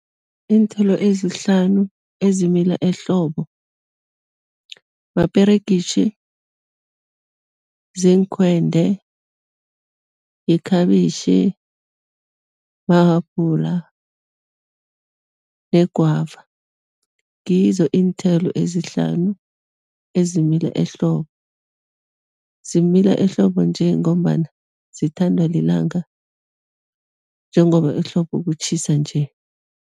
Iinthelo ezihlanu ezimila ehlobo, maperegitjhi, ziinkhwende, yikhabitjhi, mahabhula negwava, ngizo iinthelo ezihlanu ezimila ehlobo, zimila ehlobo nje ngombana zithandwa lilanga njengoba ehlobo kutjhisa nje.